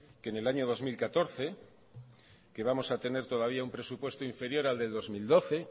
que en el año dos mil catorce que vamos a tener todavía un presupuesto inferior al de dos mil doce